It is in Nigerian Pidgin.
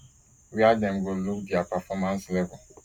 wia dem go look dia performance level